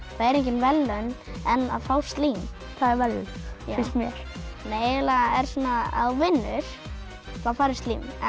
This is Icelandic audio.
það eru engin verðlaun en að fá slím það eru verðlaun finnst mér eiginlega er svona ef þú vinnur þá færðu slím en